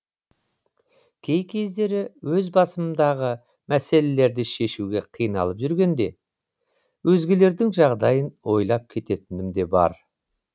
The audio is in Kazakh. кей кездері өз басымдағы мәселелерді шешуге қиналып жүргенде өзгелердің жағдайын ойлап кететінім де бар